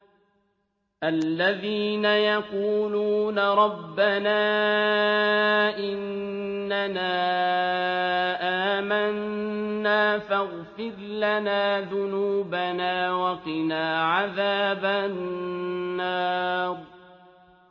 الَّذِينَ يَقُولُونَ رَبَّنَا إِنَّنَا آمَنَّا فَاغْفِرْ لَنَا ذُنُوبَنَا وَقِنَا عَذَابَ النَّارِ